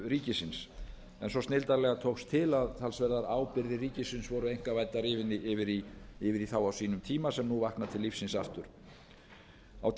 ríkisins svo snilldarlega tókst til að talsverðar ábyrgðir ríkisins voru einkavæddar yfir í þá á sínum tíma sem nú vakna til lífsins aftur á